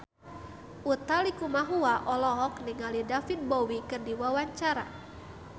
Utha Likumahua olohok ningali David Bowie keur diwawancara